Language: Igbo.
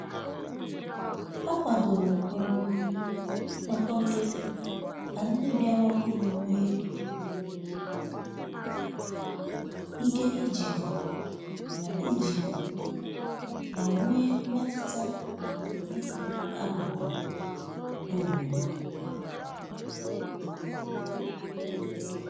Ọ kwadoro um nnoko nkiti ka ndi biara ọhuru nwee um ike ijiko ma ijiko ma nwee mmetụta na-ịbụ akụkụ nke obodo